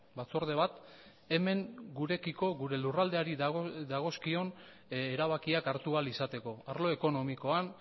batzorde bat hemen gurekiko gure lurraldeari dagozkion erabakiak hartu ahal izateko arlo ekonomikoan